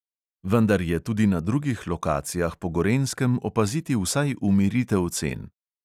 Vendar je tudi na drugih lokacijah po gorenjskem opaziti vsaj umiritev cen.